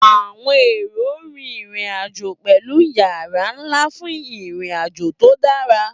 Àwọn èrò ń rin ìrìn-àjò pẹ̀lú ìyára ńlá fún ìrìn-àjò tó dára.